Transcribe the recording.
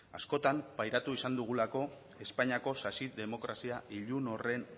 askotan pairatu izan dugulako espainiako sasi demokrazia ilun horren